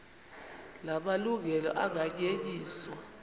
la malungelo anganyenyiswa